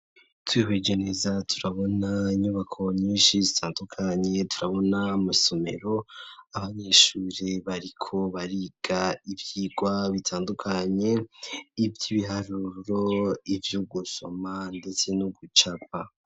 Twihweje neza turabona inyubako nyinshi zitandukanye turabona mw'isomero abanyeshuri bariko bariga ivyigwa bitandukanye ivy'ibiharuro ivy'u gusoma ndetse no gucapa.